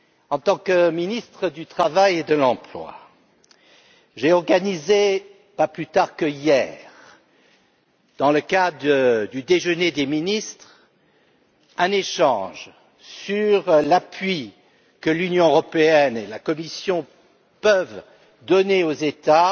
En tant que ministre du travail et de l'emploi, j'ai organisé, pas plus tard qu' hier, dans le cadre du déjeuner des ministres, un échange sur l'appui que l'Union européenne et la Commission peuvent donner aux États